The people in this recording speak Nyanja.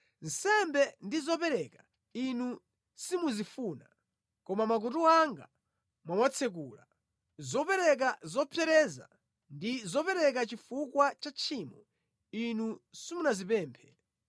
Nsembe ndi zopereka Inu simuzifuna, koma makutu anga mwawatsekula; zopereka zopsereza ndi zopereka chifukwa cha tchimo Inu simunazipemphe.